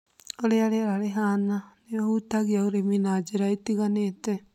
ũrĩa rĩera rĩhana nĩũhutagia ũrĩmi na njĩra itiganĩte